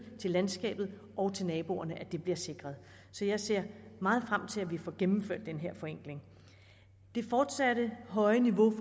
til landskabet og til naboerne bliver sikret så jeg ser meget frem til at vi får gennemført den her forenkling det fortsat høje niveau